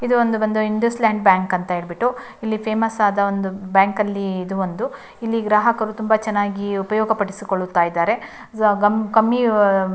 ಇದು ಒಂದು ಬಂದು ಇಂಡಸ್ ಲ್ಯಾಂಡ್ ಬ್ಯಾಂಕ್ ಅಂತ ಹೇಳ್ಬಿಟ್ಟು ಇಲ್ಲಿ ಫೇಮಸ್ ಆದ ಒಂದು ಬ್ಯಾಂಕಲ್ಲಿ ಇದು ಒಂದು ಇಲ್ಲಿ ಗ್ರಾಹಕರು ಉಪಯೋಗಪಡಿಸುಕೊಳ್ಳುತ್ತಾ ಇದ್ದಾರೆ ಸೊ ಕಮ್ಮಿ --